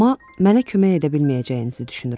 Amma mənə kömək edə bilməyəcəyinizi düşünürəm.